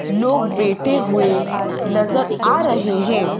लोग बैठे हुए नजर आ रहे हैं।